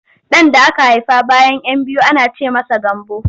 Ɗan da aka haifa bayan 'yan biyu ana ce masa Gambo.